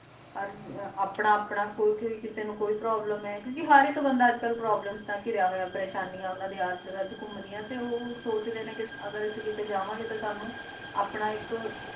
ਹਰ ਆਪਣਾ ਆਪਣਾ ਕਿਸੀ ਨੂੰ ਕੋਈ ਪ੍ਰੋਬਲਮ ਹੈ ਕਿਉ ਕ ਹਰ ਕੋਈ ਪ੍ਰੇਸ਼ਾਨੀਆਂ ਤੋਂ ਗਹਿਰੀਆਂ ਹੋਇਆ ਹਰ ਇਕ ਨੂੰ ਪ੍ਰੇਸ਼ਾਨੀ ਹੈ ਤੇ ਉਹ ਸੋਚਦੇ ਨੇ ਕ ਜਾਵਾਂ ਗੇ ਤੇ ਇਸ ਕਰ ਕ